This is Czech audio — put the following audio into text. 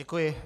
Děkuji.